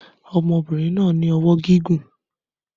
Ọmọkùnrin náà ní ọwọ́ gígùn